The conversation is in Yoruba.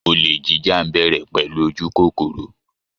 Olè jíjà ń bẹ̀rẹ̀ pẹ̀lú ojú kókóró